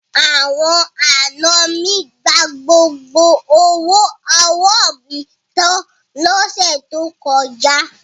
Àwọn àna mi gba gbogbo owó ọwọ́ mi tan lọ́sẹ̀ tó kọjá.